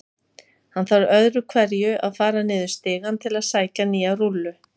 Hann þarf öðru hverju að fara niður stigann til að sækja nýja rúllu.